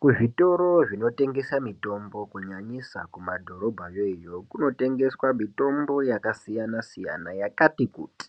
Kuzvitoro zvinotengesa mitombo, kunyanyisa kumadhorobhayo iyo, kunotengeswa mitombo yakasiyana-siyana yakati kuti,